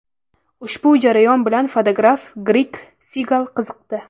Ushbu jarayon bilan fotograf Gregg Segal qiziqdi.